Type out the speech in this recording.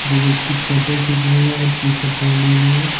जो व्यक्ति फोटो खींच रहे हैं और टी शर्ट पहने हुए हैं।